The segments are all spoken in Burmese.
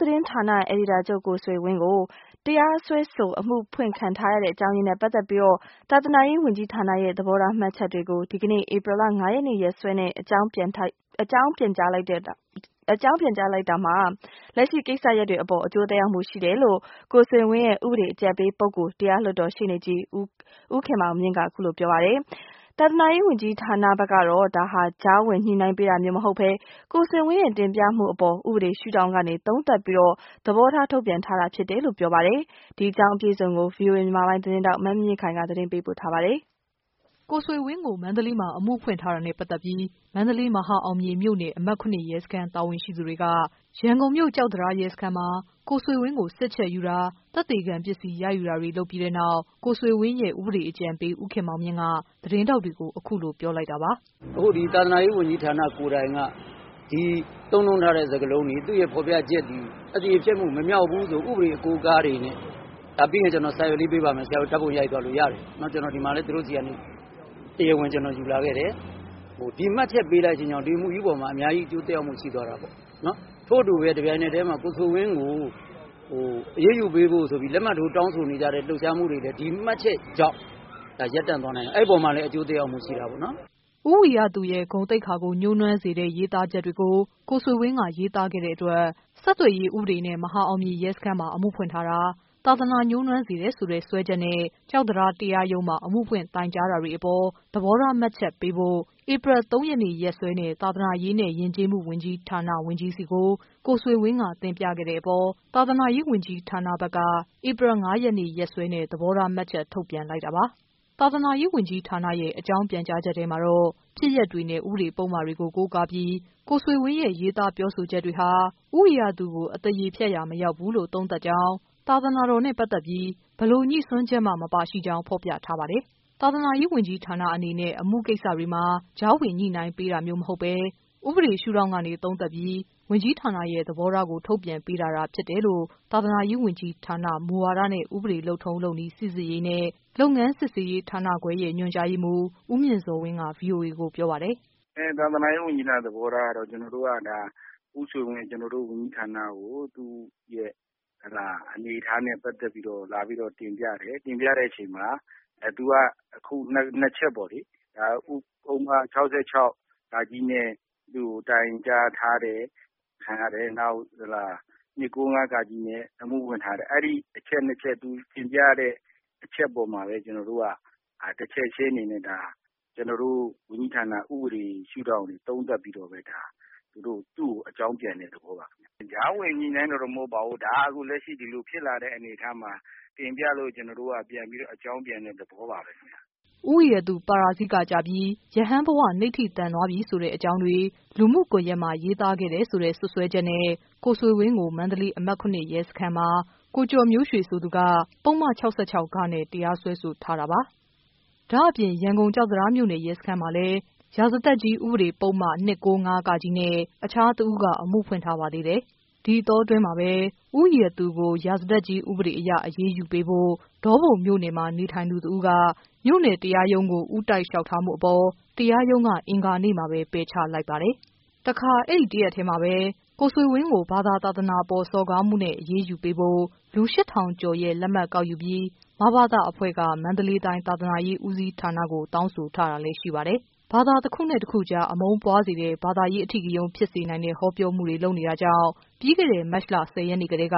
သတင်းဌာန အယ်ဒီတာချုပ် ကိုဆွေဝင်းကို တရားစွဲဆို အမှုဖွင့်ခံထားရတဲ့ အကြောင်းအရင်းတွေနဲ့ ပတ်သက်ပြီး သာသနာရေးဝန်ကြီးဌာနရဲ့ သဘောထား မှတ်ချက်တွေကို ဒီကနေ့ ရက်စွဲနဲ့ အကြောင်းပြန်ကြားလိုက်တာ ဟာ လက်ရှိကိစ္စရပ်တွေအပေါ် အကျိုးသက်ရောက်မှုရှိတယ်လို့ ကိုဆွေဝင်းရဲ့ဥပဒေအကြံပေးပုဂ္ဂိုလ် တရားလွှတ်တော်ရှေ့နေ ကြီး ဦးခင်မောင်မြင့်က ပြောပါတယ်။ သာသနာရေးဝန်ကြီးဌာနဘက်ကတော့ ဒါဟာ ကြားဝင်ညှိနှိုင်းပေးတာမျိုးမဟုတ်ဘဲ ကိုဆွေ ဝင်းရဲ့တင်ပြမှုအပေါ် ဥပေဒေရှုထောင့်ကနေ သုံးသပ်ပြီး သဘောထား ထုတ်ပြန်ပေးတာ ဖြစ်တယ်လို့ ဆိုပါတယ်။ ဒီသတင်း အပြည့်အစုံကိုတော့ ဗွီအိုအေ မြန်မာပိုင်းသတင်းထောက် မမြင့်မြင့်ခိုင်က တင်ပြထားပါတယ်။ ကိုဆွေဝင်းကို မန္တလေးမှာ အမှုဖွင့်ထားတာနဲ့ပတ်သက်ပြီး မန္တလေး၊ မဟာအောင်မြေမြို့နယ်၊ အမှတ် ရဲစခန်း တာဝန်ရှိသူတွေ က ရန်ကုန်မြို့၊ ကျောက်တံတားရဲစခန်းမှာ ကိုဆွေဝင်းကို စစ်ချက်ယူတာ၊ သက်သေခံပစ္စည်း ရယူတာတွေ လုပ်ပြီးတဲ့နောက် ကိုဆွေဝင်းရဲ့ ဥပဒေအကြံပေး ဦးခင်မောင်မြင့်က သတင်းထောက်တွေကို အခုလိုပြောလိုက်တာပါ။ “အခုဒီ သာသနာရေးဝန်ကြီးဌာနကိုယ်တိုင်က ဒီသုံးနှုန်းထားတဲ့ စကားလုံးတွေ သူ့ဖော်ပြချက်တွေ ၊ အသရေဖျက်မှု မမြောက်ဘူးလို့ ဥပဒေအကိုးအကားတွေနဲ့ ပြီးရင် ကျနော်ပေးပါ့မယ် ဆရာတို့ ဓါတ်ပုံရိုက်သွားလို့ရတယ်။ ကျနော်ဒီမှာလည်း သူတို့ဆီကနေ တရားဝင် ကျနော်တို့ ယူလာခဲ့တယ်၊ ဒီမှတ်ချက်ပေးလိုက်တဲ့အတွက်ကြောင့် ဒီအမှုကြီးပေါ်မှာ အများကြီးအကျိုးသက်ရောက်မှုရှိသွားတာပေါ့နော်။ ထို့အတူပဲ တပြိုင်နက်တည်းမှာ ကိုဆွေဝင်းကို အရေးယူပေးဖို့ဆိုပြီး လက်မှတ်ထိုးတောင်းဆိုနေကြတဲ့ လှုပ်ရှားမှုတွေလည်း ဒီမှတ်ချက်ကြောင့် ဒါရပ်တန့်သွားနိုင်တယ် အဲဒီအပေါ်မှာလည်း ဒါအကျိုးသက်ရောက်မှု ရှိတာပေါ့နော်။” ဦးဝီရသူရဲ့ ဂုဏ်သိက္ခာကို ညှိုးနွမ်းစေတဲ့ ရေးသားချက်တွေကို ကိုဆွေဝင်းက ရေးသားတဲ့အတွက် ဆက်သွယ်ရေးဥပဒေနဲ့ မဟာ အောင်မြေရဲစခန်းမှာ အမှုဖွင့်ထားတာ၊ သာသနာညှိုးနွမ်းစေတယ်ဆိုတဲ့ စွဲချက်နဲ့ ကျောက်တံတား တရားရုံးမှာ အမှုဖွင့်တိုင်ကြား ထားတာတွေအပေါ် သဘောထား မှတ်ချက်ပေးဖို့ ဧပြီလ ၃ ရက် ရက်စွဲနဲ့ သာသာနာရေးနဲ့ ယဉ်ကျေးမှုဝန်ကြီးဌာန ဝန်ကြီးဆီကို ကိုဆွေဝင်းက တင်ပြခဲ့တဲ့အပေါ် သာသနာရေးဝန်ကြီးဌာနက ဧပြီ ၅ ရက်နေ့ ရက်စွဲနဲ့ သဘောထားမှတ်ချက် ထုတ်ပြန်လိုက်တာ ပါ။ သာသနာရေးဝန်ကြီးဌာနရဲ့ အကြောင်းပြန်ကြားချက်ထဲမှာတော့ ဖြစ်ရပ်တွေနဲ့ ဥပဒေပုဒ်မတွေကို ကိုးကားပြီး ကိုဆွေဝင်းရဲ့ ရေးသားပြောဆိုချက်တွေဟာ ဦးဝီရသူကို အသရေဖျက်ရာ မရောက်ဘူးလို့ သုံးသပ်ကြောင်း၊ သာသနာတော်နဲ့ ပတ်သက်ပြီး ဘယ်လိုညိစွန်းချက်မှ မပါရှိကြောင်း ဖော်ပြထားပါတယ်။ သာသနာရေးဝန်ကြီးဌာနအနေနဲ့ အမှုကိစ္စတွေမှာ ကြားဝင်ညှိနှိုင်းပေးတာမျိုးမဟုတ်ဘဲ ဥပဒေ ရှုထောင့်ကနေ သုံးသပ်ပြီး ဝန်ကြီး ဌာနရဲ့ သဘောထားကို ထုတ်ပြန်ပေးတာသာဖြစ်တယ်လို့ သာသနာရေးဝန်ကြီးဌာန၊ မူဝါဒနဲ့ ဥပဒေ လုပ်ထုံးလုပ်နည်း စိစစ်ရေးနဲ့ လုပ်ငန်းစစ်ဆေးရေးဌာနခွဲရဲ့ညွှန်ကြားရေးမှူး ဦးမြင့်ဇော်ဝင်းက ဗွီအိုအေကိုပြောပါတယ်။ “သာသနာရေးဝန်ကြီးဌာန သဘောထားကတော့ ကျနော်တို့ကဒါ ဦးဆွေဝင်း ကျနော်တို့ ဝန်ကြီးဌာနကို သူ့အနေအထားနဲ့ ပတ်သက်ပြီးတော့ လာပြီးတော့ တင်ပြတယ်။ တင်ပြတဲ့အချိန်မှာ သူက အခု ၂ ချက်ပေါ့လေ။ ပုဒ်မ ၆၆ နဲ့ သူ့ကို တိုင်ကြားထားတယ်။ နောက် ၂၉၅ နဲ့ အမှုဖွင့်ထားတယ်။ အဲဒီအချက်၂ ချက် သူတင်ပြထားတဲ့ အချက်ပေါ်မှာပဲ မူတည်ပြီးတော့ ကျနော်တို့က တချက်ချင်းအနေနဲ့ ဒါ ကျနေ်ာတို့ ဝန်ကြီးဌာန ဥပဒေရှုှု့ထောင့်ကနေ သုံးသပ်ပြီးတော့ ဒါသူ့ကို အကြောင်းပြန်တဲ့ သဘောပါခင်ဗျ။ ကြားဝင် ညှိနှိုင်းတာကတော့ မဟုတ်ပါဘူး အခုလက်ရှိ ဒါဖြစ်လာတဲ့ အနေအထားမှာ တင်ပြလို့ ကျနော်တို့ အကြောင်းပြန်တဲ့ သဘောပါပဲခင်ဗျ။” ဦးဝီရသူ ပါရာဇိကကျပြီး ရဟန်းဘ၀ နိဌိတံသွားပြီ ဆိုတဲ့အကြောင်းတွေ လူမှုကွန်ယက်မှာ ရေးသားခဲ့တယ်ဆိုတဲ့ စွပ်စွဲချက်နဲ့ ကိုဆွေဝင်းကို မန္တလေး အမှတ် ၇ ရဲစခန်းမှာ ကိုကျော်မျိုးရွှေဆိုသူက ပုဒ်မ ၆၆ နဲ့ တရားစွဲဆိုထားပါတယ်။ ဒါ့အပြင် ရန်ကုန် ကျောက်တံတားမြို့နယ် ရဲစခန်းမှာလည်း ရာဇသတ်ကြီးဥပဒေပုဒ်မ ၂၉၅ နဲ့ တခြားတဦးက အမှုဖွင့်ထားပါသေးတယ်။ ဒီအတောအတွင်းမှာပဲ ဦးဝီရသူကို ရာဇသတ်ကြီး ဥပဒေအရ အရေးယူပေးဖို့ ဒေါပုံမြို့နယ်မှာ နေထိုင်သူတဦးက မြို့နယ်တရားရုံး ကို ဦးတိုက် လျှောက်ထားမှုအပေါ် တရားရုံးက အင်္ဂါနေ့မှာပဲ ပယ်ချလိုက်ပါတယ်။ တခါ အဲဒီတရက်ထဲမှာပဲ ကိုဆွေဝင်းကို ဘာသာသာသနာအပေါ် စော်ကားမှုနဲ့ အရေးယူပေးဖို့ လူ ၈၀၀၀ကျော်ရဲ့ လက်မှတ်ကောက်ယူပြီး မဘသ အဖွဲ့က မန္တလေးတိုင်း သာသနာရေး ဦးစီးဌာနကို တောင်းဆိုထားတာလဲရှိပါတယ်။ ဘာသာတခုနဲ့တခုကြား အမုန်းတရားပွားစေတဲ့၊ ဘာသာရေး အဓိကရုဏ်း ဖြစ်စေနိုင် တဲ့ ဟောပြောမှုတွေ လုပ်နေတာကြောင့် ပြီးခဲ့တဲ့ မတ်လ ၁၀ ရက်နေ့ကတည်းက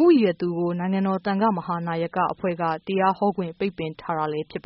ဦးဝီရသူ ကို နိုင်ငံတော်သံဃမဟာနာယကအဖွဲ့က တရားဟောခွင့် ပိတ်ပင်ထား တာလဲ ဖြစ်ပ